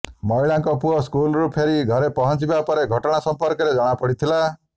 ମହିଳାଙ୍କ ପୁଅ ସ୍କୁଲରୁ ଫେରି ଘରେ ପହଞ୍ଚିବା ପରେ ଘଟଣା ସମ୍ପର୍କରେ ଜଣାପଡ଼ିଥିଲା